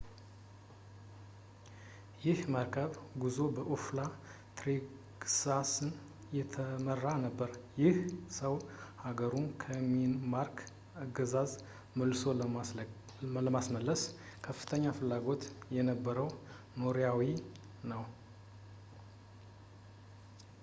ይህ የመርከብ ጉዞ በኦላፍ ትሬግቫሰን የተመራ ነበር ይህ ሰው ሃገሩን ከዴንማርክ አገዛዝ መልሶ ለማስመለስ ከፍተኛ ፍላጎት የነበረው ኖርዌያዊ ነው